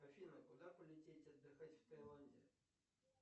афина куда полететь отдыхать в тайланде